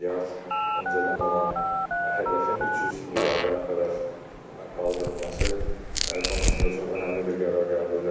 100 milyar öncedən olan hədəfin 300 milyarda qədər qaldırılması konusunda çox önəmli bir qərar qəbul elədik.